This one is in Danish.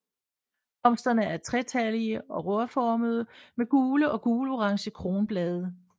Blomsterne er tretallige og rørformede med gule eller gulorange kronblade